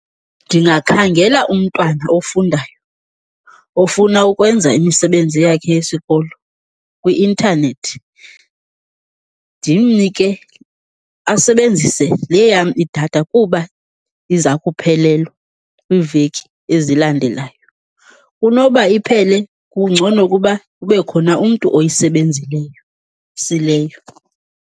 Ndingakhangela umntwana ofundayo ofuna ukwenza imisebenzi yakhe yesikolo kwi-intanethi, ndimnike asebenzise le yam idatha kuba iza kuphelelwa kwiiveki ezilandelayo. Kunoba iphele, kungcono kuba kube khona umntu oyisebenzileyo .